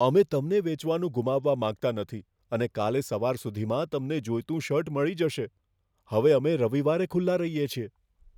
અમે તમને વેચવાનું ગુમાવવા માંગતા નથી અને કાલે સવાર સુધીમાં તમને જોઈતું શર્ટ મળી જશે. હવે અમે રવિવારે ખુલ્લા રહીએ છીએ.